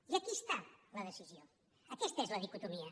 i aquí hi ha la decisió aquesta és la dicotomia